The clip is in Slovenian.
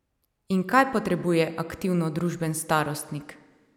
In kaj potrebuje aktivno družaben starostnik?